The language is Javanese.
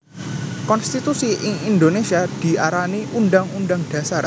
Konstitusi ing Indonesia diarani Undhang Undhang Dhasar